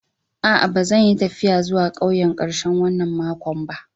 Aa, ba zan yi taffiya zuwa ƙauyen karshen wanan makon ba.